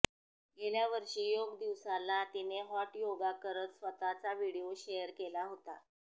गेल्यावर्षी योग दिवसाला तिने हॉट योगा करत स्वतःचा व्हिडिओ शेअर केला होता